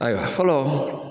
Ayiwa fɔlɔ.